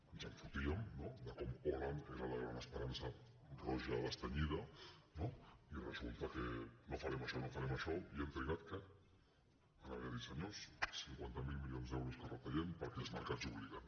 ens en fotíem de com hollande era la gran esperança roja destenyida i resulta que no farem això no farem això i han trigat què a haver de dir senyors cinquanta miler milions d’euros que retallem perquè els mercats obliguen